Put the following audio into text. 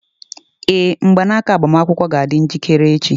Ee, mgbanaka agbamakwụkwọ ga-adị njikere echi.